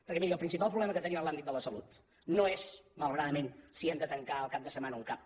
perquè miri el principal problema que tenim en l’àmbit de la salut no és malauradament si hem de tancar el cap de setmana un cap